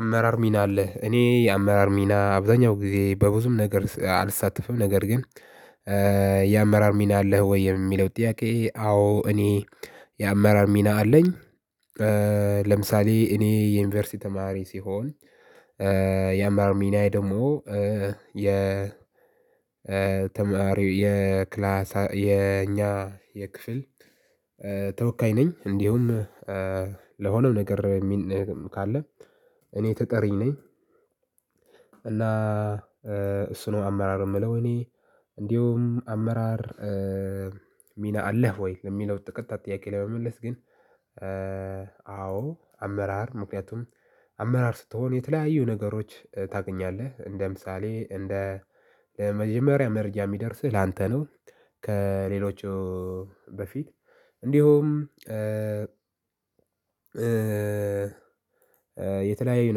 አመራር ሚና አለህ? እኔ አመራር ሚና አብዛኛው ጊዜ በብዙም ነገር አልሳተፍም ነገር ግን የአመራር ሚና አለህ ወይ? የሚለው ጥያቄ አዎ እኔ የአመራር ሚና አለኝ። ከ ለምሳሌ እኔ የዩንቨርሲቲ ተማሪ ስሆን ያመራር ሚናየ ደግሞ የ ተማሪ የክላስ የኛ የክፍል ተወካይ ነኝ እንዲሁም ለሆነው ነገር ሚል ካለ እኔ ተጠሪ ነኝ እና እሱ ነው አመራር ምለው እኔ እንዲሁም አመራር ሚና አለህ ወይ? ለሚለው ቀጥታ ጥያቄ ለመመለስ ግን አዎ አመራር ምክንያቱም አመራር ስትሆን የተለያዩ ነገሮች ታገኛለህ እንደ ምሳሌ እንደ መጀመሪያ መረጃ የሚደርስህ ላንተ ነው። ከሌሎቹ በፊት እንዲሁም የተለያዩ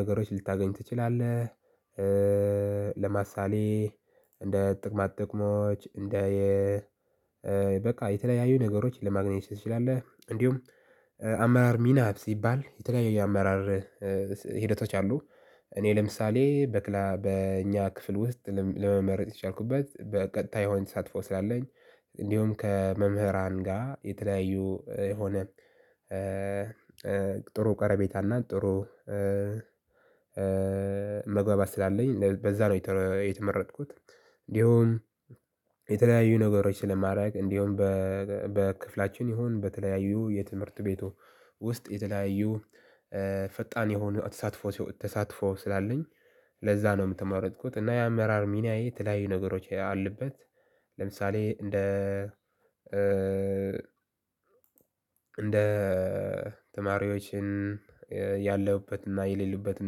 ነገሮች ልታገኝ ትችላለህ እእእ ለምሳሌ እንደ ጥቅማ ጥቅሞች እንደ የ እእዕ በቃ የተለያዩ ነገሮች ለማግኘት ትችላለህ እንዲሁም አመራር ሚና ሲባል የተለያዩ የአመራር ሂደቶች አሉ። እኔ ለምሳሌ በእኛ ክፍል ውስጥ ለመመረጥ የቻልኩበት በቀጥታ የሆነ ተሳትፎ ስላለኝ እንዲሁም ከመምህራን ጋር የተለያዩ የሆነ ጥሩ ቀረቤታ እና ጥሩ መግባባት ስላለኝ በዛ ነው የተመረጥኩት እንዲሁም የተለያዩ ነገሮች ስለማረግ እንዲሁም በክፍላቺን ይሁን በተለያዩ የ ትምህርት ቤቱ ውስጥ የተለያዩ ፈጣን የሆኑ ተሳትፎ ስላለኝ ለዛ ነው የተመረጥኩት እና የአመራር ሚናዬ የተለያዩ ነገሮች አሉበት ለምሳሌ እንደ እንደ ተማሪዎችን ያለህበትና የሌሉበትን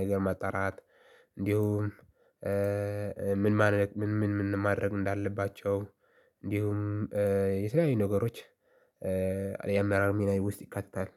ነገር ማጣራት እንዲሁም ምን ምን ማድረግ እንዳለባቸው እንዲሁም የተለያዩ ነገሮች የአመራር ሚናዬ ውስጥ ይካተታል።